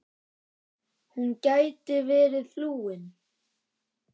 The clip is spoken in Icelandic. Hún gæti verið flúin.